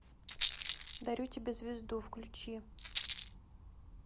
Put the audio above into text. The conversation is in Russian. дарю тебе звезду включи